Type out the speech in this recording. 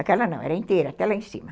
Aquela não, era inteira, até lá em cima.